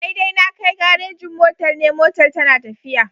Daidai na Kai garejin motar NE motar tana tafiya.